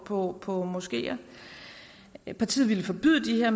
på på moskeer partiet ville forbyde